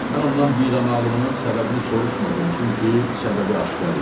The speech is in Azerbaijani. Mən ondan bidamaqlığının səbəbini soruşmadım, çünki səbəbi aşkar idi.